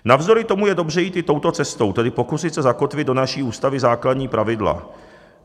Navzdory tomu je dobře jít i touto cestou, tedy pokusit se zakotvit do naší Ústavy základní pravidla.